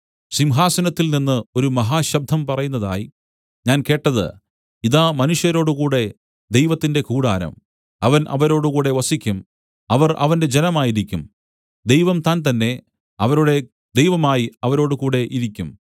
സിംഹാസനത്തിൽനിന്ന് ഒരു മഹാശബ്ദം പറയുന്നതായി ഞാൻ കേട്ടത് ഇതാ മനുഷ്യരോടുകൂടെ ദൈവത്തിന്റെ കൂടാരം അവൻ അവരോടുകൂടെ വസിക്കും അവർ അവന്റെ ജനമായിരിക്കും ദൈവം താൻതന്നെ അവരുടെ ദൈവമായി അവരോടുകൂടെ ഇരിക്കും